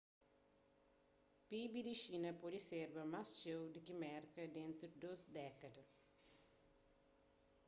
pib di xina pode serba más txeu di ki merka dentu di dôs dékada